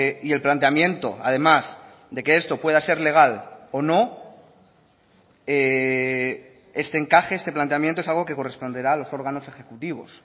y el planteamiento además de que esto pueda ser legal o no este encaje este planteamiento es algo que corresponderá a los órganos ejecutivos